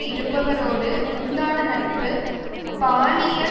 இருப்பவரோடு உண்டான நட்பு பாலியல்